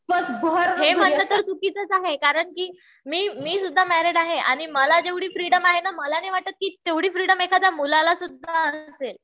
हे मात्र तर म्हणन आहे. कि मी सुद्धा मॅरीड आहे. आणि मला जेवढी फ्रिडम आहे ना मला नाही वाटत कि तेवढी फ्रिडम एखाद्या मुलाला सुद्धाअसेल